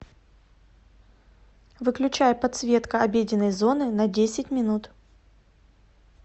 выключай подсветка обеденной зоны на десять минут